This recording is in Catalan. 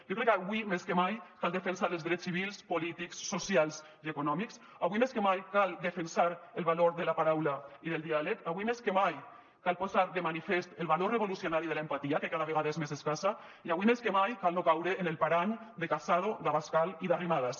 jo crec que avui més que mai cal defensar els drets civils polítics socials i econòmics avui més que mai cal defensar el valor de la paraula i del diàleg avui més que mai cal posar de manifest el valor revolucionari de l’empatia que cada vegada és més escassa i avui més que mai cal no caure en el parany de casado d’abascal i d’arrimadas